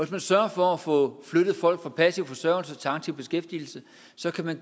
man sørger for at få flyttet folk fra passiv forsørgelse til aktiv beskæftigelse